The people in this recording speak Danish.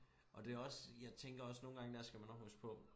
Og det også jeg tænker også nogen gange der skal man også huske på